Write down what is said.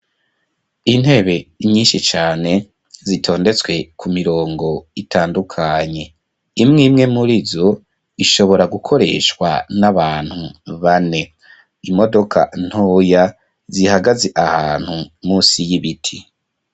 Intebe, nyinshi cane, zitondetswe ku mirongo, itandukanye; imwe imwe muri zo, ishobora gukoreshwa, n'abantu bane; imodoka ntoya, zihagaze ahantu, munsi y'ibiti.